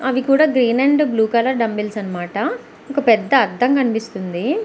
అవి కూడా green and blue colour dumbbells అన్నమాట ఒక పెద్ద అర్థం కనిపిస్తుంది.